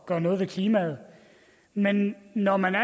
gøre noget ved klimaet men når man er